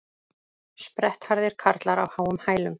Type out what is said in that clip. Sprettharðir karlar á háum hælum